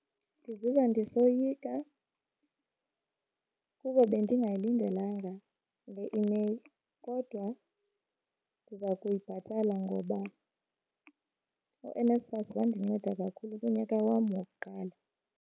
Ndiziva ndisoyika kuba bendingayilindelanga le imeyile kodwa ndiza kuyibhatala ngoba uNSFAS wandinceda kakhulu kunyaka wam wokuqala.